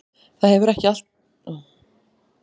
Það hefur alltaf verið áætlun okkar.